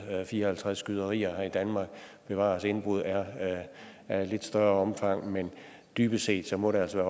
fire og halvtreds skyderier her i danmark bevares indbrud er af et lidt større omfang men dybest set må det altså